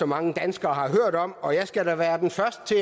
mange danskere har hørt om og jeg skal da være den første